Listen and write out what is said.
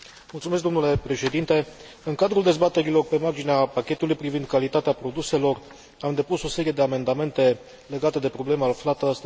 În cadrul dezbaterilor pe marginea pachetului privind calitatea produselor am depus o serie de amendamente legate de problema aflată astăzi în discuție.